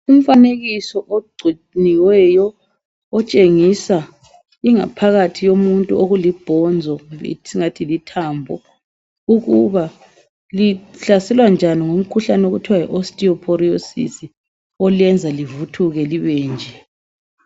Umfanekiso ogcuniweyo, otshengisa ingaphakathi yomuntu okulibhonzo kumbe esingathi lithambo ukuba lihlaselwa njani ngumkhuhlane okuthiwa yi Osteoporosis olenza livuthuke libenje.